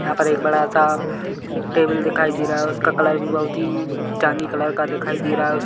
यहाँ पर एक बड़ा सा टेबल दिखाई दे रहा है उसका कलर भी बहोत ही चांदी कलर का दिखाई दे रहा है। उस--